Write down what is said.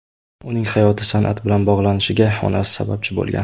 Uning hayoti san’at bilan bog‘lanishiga onasi sababchi bo‘lgan.